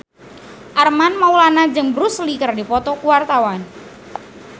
Armand Maulana jeung Bruce Lee keur dipoto ku wartawan